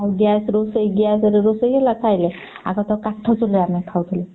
ଆଉ gas ରୋଷେଇ gas ରେ ରୋଷେଇ ହେଲା ଖାଇଲେ ଆଗତ କାଠ ଚୁଲାରେ ଆମେ ଖାଉଥିଲେ।